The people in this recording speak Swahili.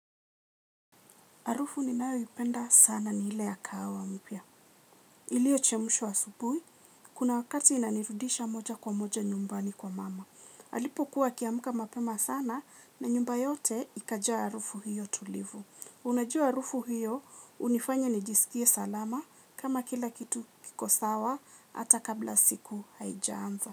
Harufu ninayoipenda sana ni ile ya kahawa mpya. Ilio chemshwa asubuhi kuna wakati inanirudisha moja kwa moja nyumbani kwa mama. Alipo kuwa akiamka mapema sana na nyumba yote ikajua harufu hiyo tulivu. Unajua harufu hiyo hunifanya nijisikie salama kama kila kitu kiko sawa hata kabla siku haijaanza.